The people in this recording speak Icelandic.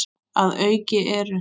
Að auki eru